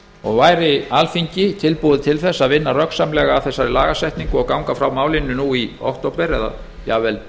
og væri alþingi tilbúið til þess að vinna röggsamlega að þessari lagasetningu og ganga frá málinu nú í október eða jafnvel